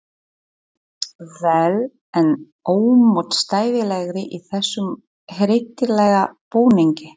vel enn ómótstæðilegri í þessum hryllilega búningi.